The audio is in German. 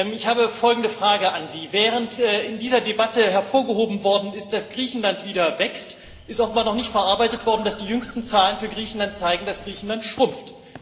Ich habe folgende Frage an Sie Während in dieser Debatte hervorgehoben worden ist, dass Griechenland wieder wächst, ist offenbar noch nicht verarbeitet worden, dass die jüngsten Zahlen für Griechenland zeigen, dass Griechenland schrumpft.